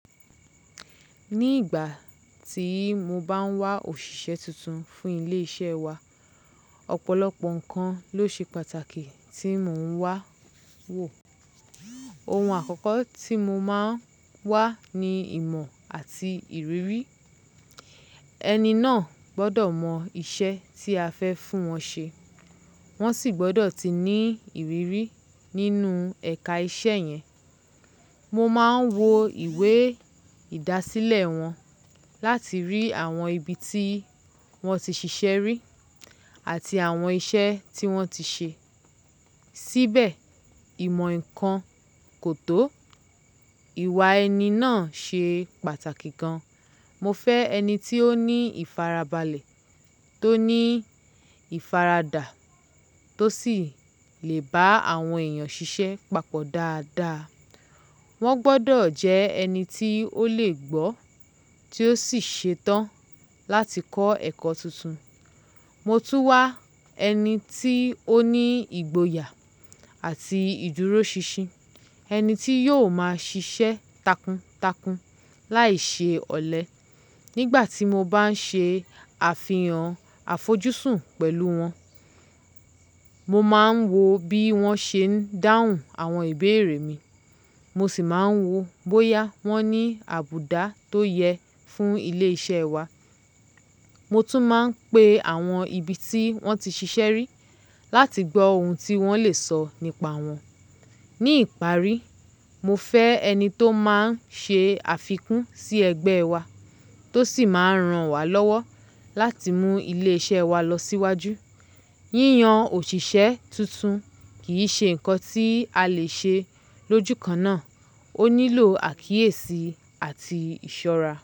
Ní ìgbà tí mo bá ń wá òṣìṣẹ́ tuntun fún ilé iṣẹ́ wa, ọ̀pọ̀lọpọ̀ nǹkan ló ṣe pàtàkì tí mò ń wá wò. Ohun àkọ́kọ́ tí mo máa ń wá ni ìmọ̀ àti ìrírí. Ẹni náà gbọ́dọ̀ mọ iṣẹ́ tí a fẹ́ fún wọn ṣe, wọ́n sì gbọ́dọ̀ ti ní ìrírí nínú ẹ̀ka iṣẹ́ yẹn. Mo máa ń wo ìwé ìdásílẹ̀ wọn láti rí àwọn ibi tí wọ́n ti ṣiṣẹ́ rí àti àwọn iṣẹ́ tí wọ́n ti ṣe. Síbẹ̀ ìmọ̀ nkan kò tó, ìwà ẹni náà ṣe pàtàkì gan. Mo fẹ́ ẹni tí ó ní ìfarabalẹ̀, tó ní ìfaradà tó sì le bá àwọn èèyàn ṣiṣẹ́ papọ̀ dáadáa. Wọ́n gbọ́dọ̀ jẹ́ ẹni tí ó le gbó, tí ó sì ṣetán láti kọ́ ẹ̀kọ́ tuntun. Mo tún wá ẹni tí ó ní ìgboyà àti ìdúróṣinṣin, ẹni tí yóò máa ṣiṣẹ́ takuntakun láìṣe ọ̀lẹ. Nígbà tí mo bá ń ṣe àfihàn àfojúsùn pẹ̀lú wọn, mo máa ń wo bí wọ́n ṣe ń dáhùn àwọn ìbéèrè mi, mo sì máa ń wo bóyá wọ́n ní àbùdá tó yẹ fún ilé iṣẹ́ wa. Mo tún máa ń pe àwọn ibi tí wọ́n ti ṣiṣẹ́ rí láti gbọ ohun tí wọ́n lè sọ nípa wọn. Ní ìparí, mo fẹ́ ẹni tó máa ń ṣe àfikún sí ẹgbẹ́ wa, tó sì máa rán wa lọ́wọ́ láti mú ilé iṣẹ́ wa lọ síwájú. Yíyan òṣìṣẹ́ tuntun kì í ṣe nǹkan tí a lè ṣe lójúkan náà, ó nílò àkíyèsí àti ìṣọ́ra.